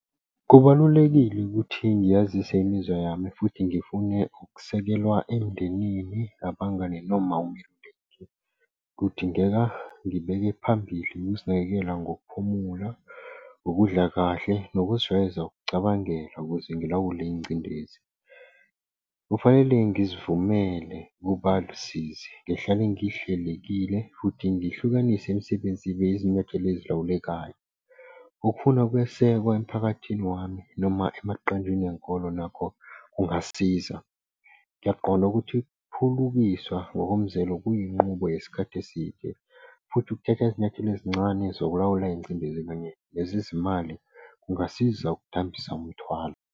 Kubalulekile ukuthi ngiyazise imizwa yami futhi ngifune ukusekelwa emndenini abangani . Kudingeka ngibeke phambili ukuzinakekela ngokuphumula, ukudla kahle nokuzijwayeza ukucabangela ukuze ngilawule ingcindezi. Kufanele ngizivumele ukuba lusizi, ngihlale ngihlelekile futhi ngihlukanise imisebenzini ibe yizinyathelo ezilawulekayo. Okufuna ukwesekwa emphakathini wami noma emaqenjini enkolo nakho kungasiza. Ngiyaqonda ukuthi ukuphulukiswa ngokomzelo kuyinqubo yesikhathi eside, futhi kuthatha izinyathelo ezincane zokulawula ingcindezi kanye lezi zimali kungasiza ukudambisa umthwalo.